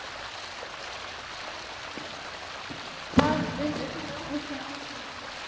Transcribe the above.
Gunnar Atli Gunnarsson: Gaf hann upp einhverja ástæðu?